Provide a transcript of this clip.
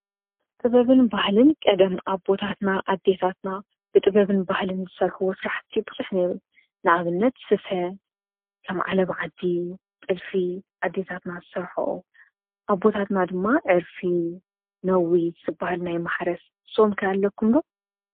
ጥበብን ባህልን ቀደም ኣቦታትና ኣዲታትና ብጥበብን ባህልን ዝሠርሕዎ ስራሕቲ ብዙሕ ነይሩ፡፡ ንኣብነት ስፈ ከም ዓለባ ዓዲ ፣ጥልፊ ኣዴታትና ዝሰርሕኦ ኣቦታትና ድማ ዕርፊ ፣ነዊት ዝባሃል ናይ ማሕረስ ንስኹም ከ ኣለኩም ዶ?